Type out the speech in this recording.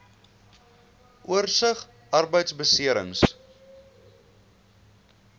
oorsig arbeidbeserings